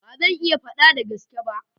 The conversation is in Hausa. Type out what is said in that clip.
Ba zan iya fada da gaske ba.